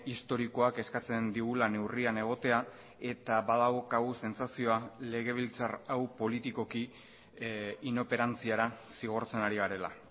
historikoak eskatzen digula neurrian egotea eta badaukagu sentsazioa legebiltzar hau politikoki inoperantziara zigortzen ari garela